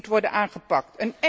Die moet worden aangepakt.